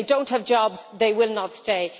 If they do not have jobs, they will not stay.